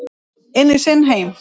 Inn í sinn heim.